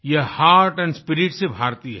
यह heart and spirit से भारतीय है